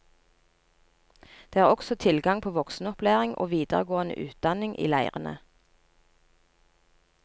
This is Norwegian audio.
Det er også tilgang på voksenopplæring og videregående utdanning i leirene.